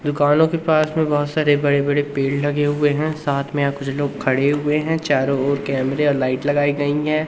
दुकानों के पास में बहुत सारे बड़े बड़े पेड़ लगे हुए है साथ में यहां कुछ लोग खड़े हुए हैं चारों ओर कैमरे और लाइट लगाई गई हैं।